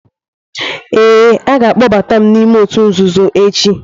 Ee, a ga-akpọbatam ​​m n'ime òtù nzuzo echi.